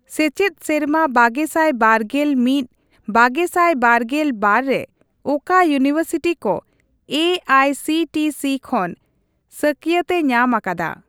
ᱥᱮᱪᱮᱫ ᱥᱮᱨᱢᱟ ᱵᱟᱜᱮᱥᱟᱭ ᱵᱟᱜᱮᱞ ᱢᱤᱫᱼ ᱵᱟᱜᱮᱥᱟᱭ ᱵᱟᱜᱮᱞ ᱵᱟᱨ ᱨᱮ ᱚᱠᱟ ᱤᱣᱱᱤᱵᱷᱟᱨᱥᱤᱴᱤ ᱠᱚ ᱮᱹᱟᱭᱹᱥᱤᱹᱴᱤᱹᱥᱤ ᱠᱷᱚᱱ ᱥᱟᱹᱠᱭᱟᱹᱛ ᱮ ᱧᱟᱢ ᱟᱠᱟᱫᱟ ?